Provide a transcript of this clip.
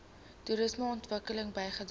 toerisme ontwikkeling bygedra